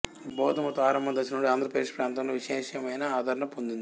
బౌద్ధమతం ఆరంభ దశనుండి ఆంధ్ర ప్రదేశ ప్రాంతలో విశేషమైన ఆదరణ పొందింది